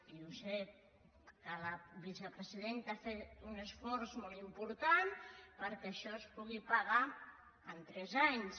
i sé que la vicepresidenta ha fet un esforç molt important perquè això es pugui pagar en tres anys